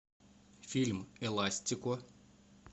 фильм эластико